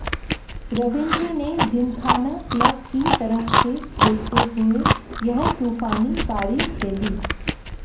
रवींद्र ने जिमखाना क्लब की तरफ से खेलते हुए यह तूफानी पारी खेली